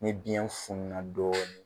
Ni biyɛn fununa dɔɔni.